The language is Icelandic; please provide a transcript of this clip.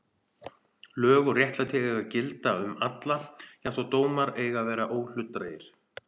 Lög og réttlæti eiga að gilda um alla jafnt og dómar eiga að vera óhlutdrægir.